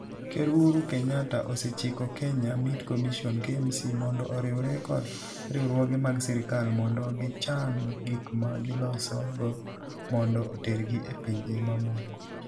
Ker Uhuru Kenyatta osechiko Kenya Meat Commission (KMC) mondo oriwre kod riwruoge mag sirkal mondo gichan gik ma gilosogo mondo otergi e pinje mamoko.